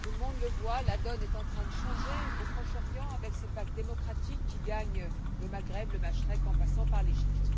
Monsieur le Président, tout le monde le voit, la donne est en train de changer au Proche Orient avec cette vague démocratique qui gagne le Maghreb, le Machrek, en passant par l'Égypte.